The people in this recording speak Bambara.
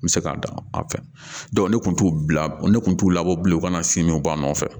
N bɛ se ka dan ne kun t'u bila ne kun t'u labɔ bilen u ka na si nu ba nɔfɛ